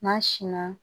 N'a sin na